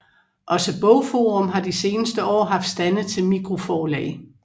Også BogForum har de seneste år haft stande til mikroforlag